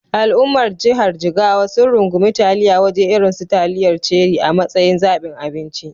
Al’ummar jihar Jigawa sun rungumi taliyar waje irin su taliyar Cherie a matsayin zabin abinci.